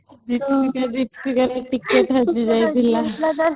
|